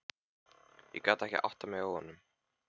Ég gat ekki áttað mig á honum.